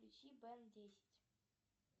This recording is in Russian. включи бен десять